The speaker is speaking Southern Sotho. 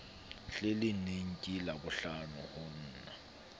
hleneng ke labohlano ho na